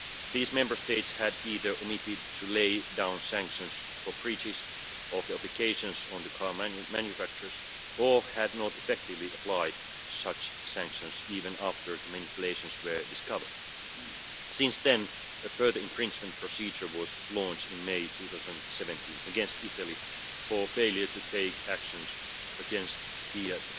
These Member States had either omitted to lay down sanctions for breaches of the obligations on the car manufacturers or had not effectively applied such sanctions, even after the manipulations were discovered. Since then, a further infringement procedure was launched in May 2017 against Italy for failure to take action against Fiat